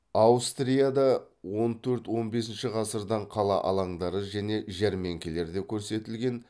аустрияда он төрт он бесінші ғасырдан қала алаңдары және жәрмеңкелерде көрсетілген